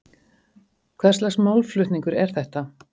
Hvers lags málflutningur er þetta?